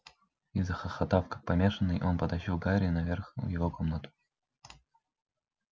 и захохотав как помешанный он потащил гарри наверх в его комнату